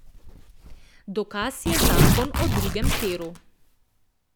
Dokaz je zakon o drugem tiru.